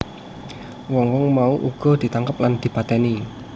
Wong wong mau uga ditangkep lan dipatèni